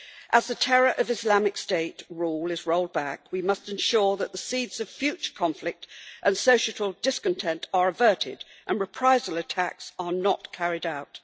As the terror of Islamic State rule is rolled back, we must ensure that the seeds of future conflict and societal discontent are averted and reprisal attacks are not carried out.